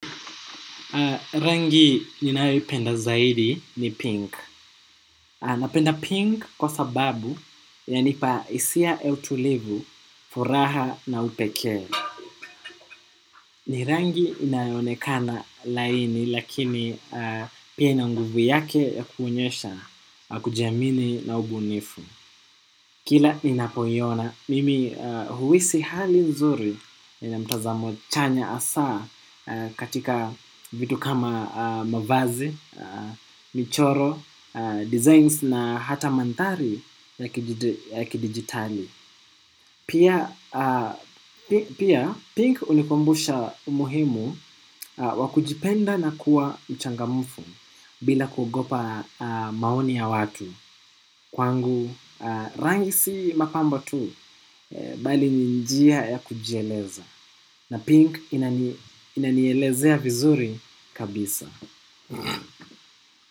Rangi ninayoi penda zaidi ni pink. Napenda pink kwa sababu ya nipa hisia ya utulivu furaha na upekee. Ni rangi inayoonekana laini lakini pia ina nguvu yake ya kuonyesha, kujiamini na ubunifu. Kila inapoiona, mimi huhisi hali nzuri inamtazamo chanya asaa katika vitu kama mavazi, michoro, designs na hata manthari ya kidigitali. Pia, pink unikumbusha umuhimu wakujipenda na kuwa mchangamufu bila kugopa maoni ya watu. Kwangu rangi si mapambo tu. Bali ninjia ya kujieleza. Na pink inanielezea vizuri kabisa.